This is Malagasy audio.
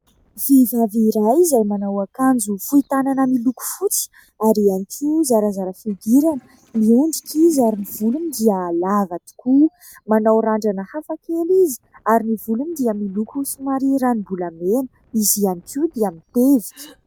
Vehivavy iray izay manao akanjo fohy tanana miloko fotsy ary ihany koa zarazara fihodirana ; miondrika izy ary ny volony dia lava tokoa ; manao randrana hafakely izy ary ny volony dia miloko somary ranombolamena ; izy ihany koa dia mitevika.